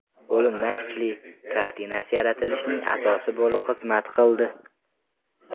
O‘limdan kuchli” kartinasi yaratilishining asosi bo‘lib xizmat qildi.